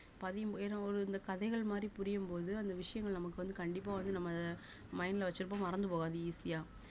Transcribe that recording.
பதியும் ஏன்னா ஒரு இந்த கதைகள் மாதிரி புரியும்போது அந்த விஷயங்கள் நமக்கு வந்து கண்டிப்பா வந்து நம்ம அத mind ல வச்சிருப்போம் மறந்து போகாது easy ஆ